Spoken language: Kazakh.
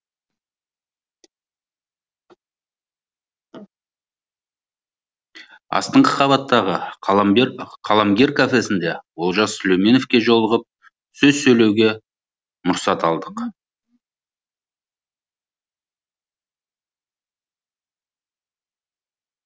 астыңғы қабаттағы қаламгер қаламгер кафесінде олжас сүлейменовке жолығып сөз сөйлеуге мұрсат алдық